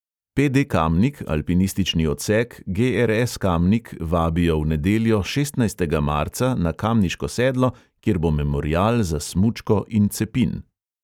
Pe|de kamnik, alpinistični odsek, ge|er|es kamnik vabijo v nedeljo, šestnajstega marca, na kamniško sedlo, kjer bo memorial za smučko in cepin.